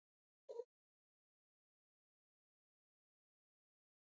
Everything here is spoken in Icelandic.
Já, það á alveg eftir að semja um það, drengur minn.